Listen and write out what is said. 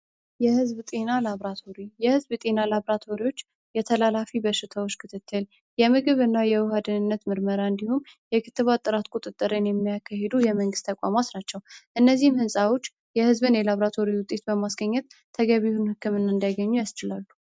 የሕዝብ ጤና ላብራቶሪ የሕዝብ ጤና ላብራቶሪዎች የተላላፊ በርሽተዎች ክትትል የምግብ እና የውሃ አድንነት ምርመራ እንዲሁም የክትባጥራት ቁጥጥረን የሚያከ ሄዱ የመንግስት ተቋማስ ናቸው። እነዚህም ህንፃዎች የሕዝብን የላብራቶሪ ውጤት በማስገኘት ተገቢሁን ሕክምና እንዲያገኙ ያስችላሉ።